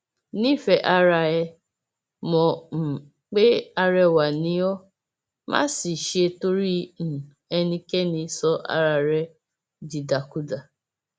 nífẹẹ ara ẹ mọ um pé arẹwà ni ó má sì ṣe torí um ẹnikẹni sọ ara ẹ dìdàkudà